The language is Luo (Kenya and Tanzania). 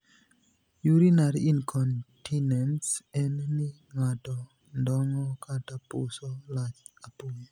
Urinary incontinence' en ni ng'ato ndongo' (puso) lach apoya.